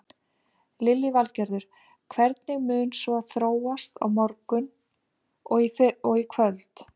Lillý Valgerður: Hvernig mun svo þróast á morgun og í kvöld?